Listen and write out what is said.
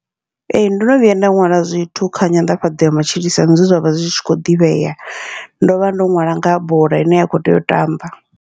Ee, ndono vhuya nda ṅwala zwithu kha nyanḓafhadzo ya matshilisano zwe zwavha zwi tshi kho ḓivhea, ndovha ndo ṅwala ngaha bola ine ya kho tea u tamba.